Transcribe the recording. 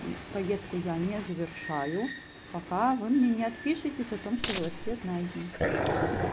и поездку я не завершаю пока вы мне не отпишитесь о том что велосипед найден